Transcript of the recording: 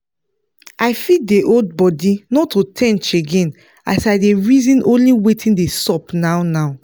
i fit dey hold bodi not to ten ch again as i dey reaon only watin dey sup now now